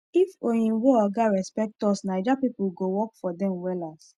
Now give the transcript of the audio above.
if oyinbo oga respect us naija people go work for dem wellas